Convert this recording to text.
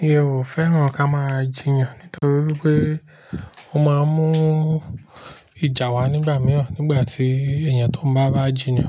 Mi ò fẹ́ràn kí a máa jiyàn nítorí pé ó máa ń mú ìjà wá nígbà mìíràn. Nígbà tí èèyàn tó bá bá jiyàn